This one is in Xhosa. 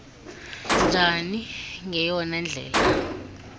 njani ngeyona ndlela